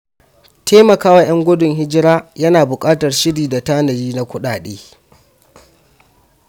Taimaka wa ‘yan gudun hijira yana buƙatar shiri da tanadi na kuɗaɗe.